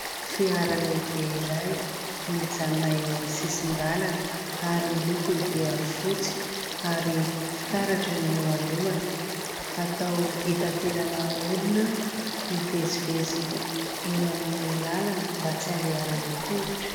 Fiara lehibe iray mijanona eo amin'ny sisin-dalana ary ny lokony dia fotsy ary fitaratra ny eo alohany. Atao hitanteran' olona hivezivezy eny amin'ny lalana mba tsy andehanana tongotra.